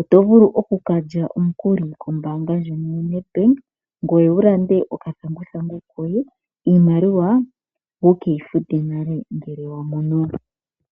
oto vulu okukalya omukuli kombaanga ngono yoNedbank ngono wulande okathanguthangu koye, iimaliwa wukeyi fute nale ngele weyi mono.